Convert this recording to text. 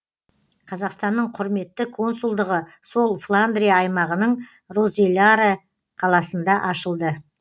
қазақстанның құрметті консулдығы сол фландрия аймағының розеларе қаласында ашылды